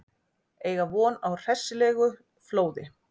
Eiga von á hressilegu flóði